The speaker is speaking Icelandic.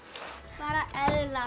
bara eðla